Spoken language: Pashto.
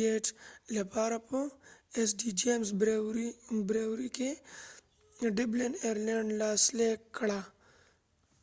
ګیټ بریوریst.james brewerey لپاره په ډبلن ایر لینیډ dublin airland کې لاسلیک کړه